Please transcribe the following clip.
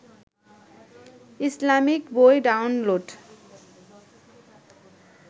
Islamic বই download